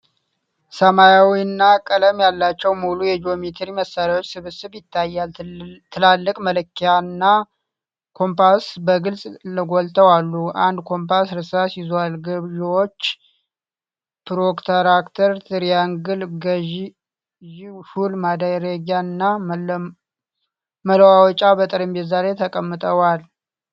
ሰማያዊና ቀለም ያላቸው ሙሉ የጂኦሜትሪ መሳርያዎች ስብስብ ይታያል። ትላልቅ መለኪያ እና ኮምፓስ በግልጽ ጎልተው አሉ። አንድ ኮምፓስ እርሳስ ይዟል። ገዢዎች፣ ፕሮትራክተር፣ ትሪያንግል ገዢ፣ ሹል ማድረጊያ እና መለዋወጫዎች በጠረጴዛ ላይ ተቀምጠዋል።